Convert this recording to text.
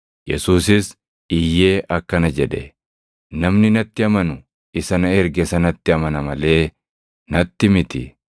Yesuusis iyyee akkana jedhe; “Namni natti amanu isa na erge sanatti amana malee natti miti.